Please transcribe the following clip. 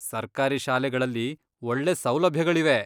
ಸರ್ಕಾರಿ ಶಾಲೆಗಳಲ್ಲಿ ಒಳ್ಳೆ ಸೌಲಭ್ಯಗಳಿವೆ.